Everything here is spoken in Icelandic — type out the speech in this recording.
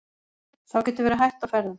Þá getur verið hætta á ferðum.